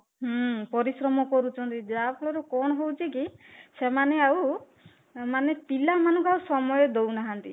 ହୁଁ ପରିଶ୍ରମ କରୁଛନ୍ତି ଯାହା ଫଳରେ କଣ ହଉଚି କି ସେମାନେ ଆଉ ମାନେ ପିଲାମାନଙ୍କୁ ଆଉ ସମୟ ଦଉନାହାନ୍ତି